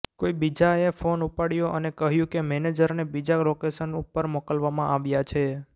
કોઈ બીજા એ ફોન ઉપાડ્યો અને કહ્યું કે મેજરને બીજા લોકેશન ઉપર મોકલવામાં આવ્યા છે